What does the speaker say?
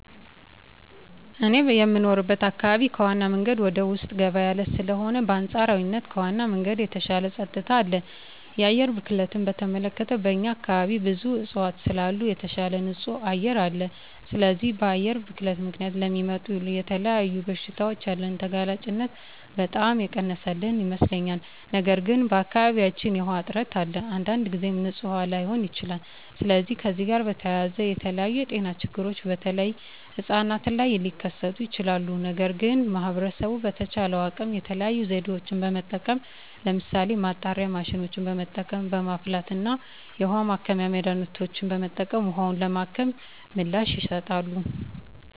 እኔ የምኖርበት አካባቢ ከዋናው መንገድ ወደ ውስጥ ገባ ያለ ስለሆነ በአንፃራዊነት ከዋናው መንገድ የተሻለ ፀጥታ አለ። የአየር ብክለትን በተመለከተ በእኛ አካባቢ ብዙ እፅዋት ስላሉ የተሻለ ንፁህ አየር አለ። ስለዚህ በአየር ብክለት ምክንያት ለሚመጡ ለተለያዩ በሽታዎች ያለንን ተጋላጭነት በጣም የቀነሰልን ይመስለኛል። ነገር ግን በአካባቢያችን የዉሃ እጥረት አለ። አንዳንድ ጊዜም ንፁህ ላይሆን ይችላል። ስለዚህ ከዚህ ጋር በተያያዘ የተለያዩ የጤና ችግሮች በተለይ ህጻናት ላይ ሊከስቱ ይችላሉ። ነገር ግን ማህበረሰቡ በተቻለው አቅም የተለያዩ ዘዴዎችን በመጠቀም ለምሳሌ ማጣሪያ ማሽኖችን በመጠቀም፣ በማፍላት እና የውሀ ማከሚያ መድሀኒቶችን በመጠቀም ውሀውን በማከም ምላሽ ይሰጣሉ።